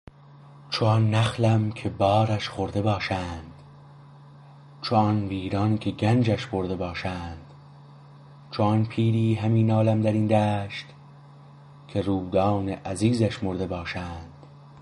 چو آن نخلم که بارش خورده باشند چو آن ویران که گنجش برده باشند چو آن پیری همی نالم درین دشت که رودان عزیزش مرده باشند